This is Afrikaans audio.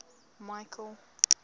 michael